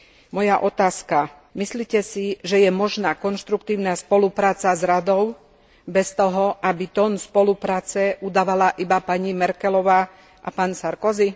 Moja otázka Myslíte si, že je možná konštruktívna spolupráca s Radou bez toho, aby tón spolupráce udávala iba pani Merkelová a pán Sarkozy?